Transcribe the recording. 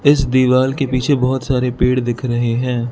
इस दीवाल के पीछे बहोत सारे पेड़ दिख रहे हैं।